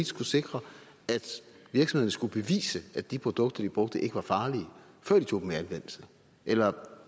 skulle sikre at virksomhederne skulle bevise at de produkter de brugte ikke var farlige før de tog dem i anvendelse eller